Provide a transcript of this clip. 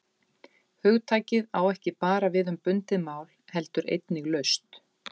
Hugtakið á ekki bara við um bundið mál heldur einnig laust.